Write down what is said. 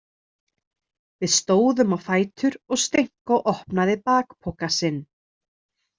Við stóðum á fætur og Stenko opnaði bakpoka sinn.